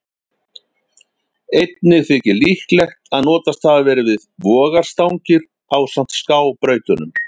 Einnig þykir líklegt að notast hafi verið við vogarstangir ásamt skábrautunum.